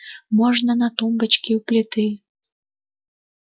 можно на тумбочке у плиты